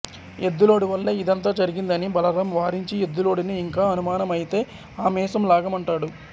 ఎద్దులోడి వల్లే ఇదంతా జరిగింది అని బలరాం వారించి ఎద్దులోడిని ఇంకా అనుమానమయితే ఆ మీసం లాగమంటాడు